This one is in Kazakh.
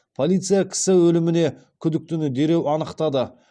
полиция кісі өліміне күдіктіні дереу анықтады